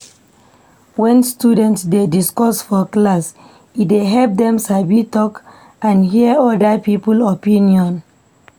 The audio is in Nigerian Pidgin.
When students dey discuss for class, e dey help dem sabi talk and hear other people opinion.